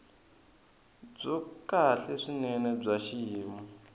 byo kahle swinene bya xiyimo